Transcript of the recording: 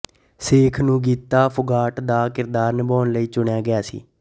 ਸ਼ੇਖ ਨੂੰ ਗੀਤਾ ਫੋਗਾਟ ਦਾ ਕਿਰਦਾਰ ਨਿਭਾਉਣ ਲਈ ਚੁਣਿਆ ਗਿਆ ਸੀ